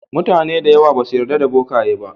Mutane da yawa basu yarda da bokaye ba.